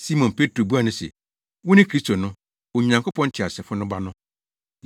Simon Petro buaa no se, “Wone Kristo no, Onyankopɔn Teasefo no Ba no!”